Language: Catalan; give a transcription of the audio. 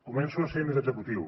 començo a ser més executiu